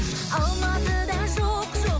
алматыда жоқ жоқ